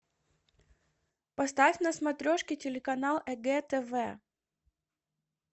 поставь на смотрешке телеканал егэ тв